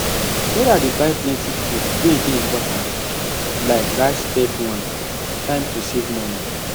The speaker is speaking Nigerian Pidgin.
sarah dey buy plenty food wey dey important like rice spag one time to save moni